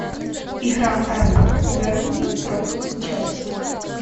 игра апл бернли против челси